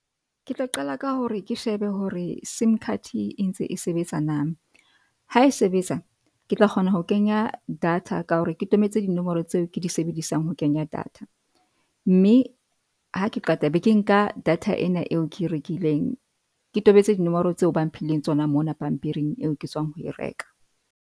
Ke tla qala ka hore ke shebe hore sim card e ntse e sebetsa na, ha e sebetsa ke tla kgona ho kenya data ka hore ke tobetse dinomoro tseo ke di sebedisang ho kenya data. Mme ha ke qeta be ke, nka data ena eo ke rekileng ke tobetse dinomoro tseo ba mphileng tsona mona pampiring eo ke tswang ho e reka.